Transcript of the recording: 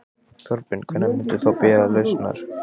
Þorbjörn: Hvenær muntu þá biðjast lausnar?